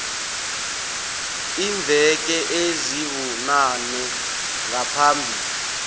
iimveke ezibunane ngaphambi